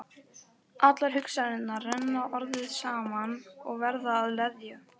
Allar hugsanirnar renna orðið saman og verða að leðju.